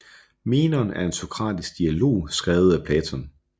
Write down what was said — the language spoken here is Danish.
Menon er en sokratisk dialog skrevet af Platon